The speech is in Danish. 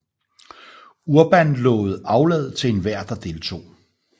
Urban lovede aflad til enhver der deltog